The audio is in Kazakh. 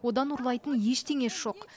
одан ұрлайтын ештеңесі жоқ